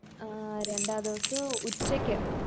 ആഹ് രണ്ടാ ദിവസോ ഉച്ചയ്ക്ക്